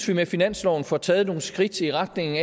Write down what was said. vi med finansloven får taget nogle skridt i retning